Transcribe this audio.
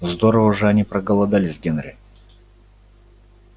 здорово же они проголодались генри